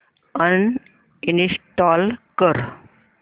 uninstall कर